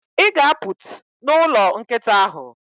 ị ga-apụt n'ụlọ nkịta ahụ.